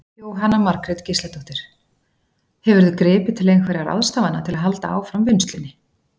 Jóhanna Margrét Gísladóttir: Hefurðu gripið til einhverja ráðstafana til að halda áfram vinnslunni?